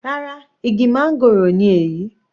Rárá, igi máńgòrò ni èyí.